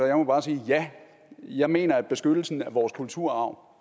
jeg må bare sige at ja jeg mener at beskyttelsen af vores kulturarv